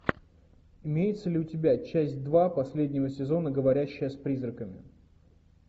имеется ли у тебя часть два последнего сезона говорящая с призраками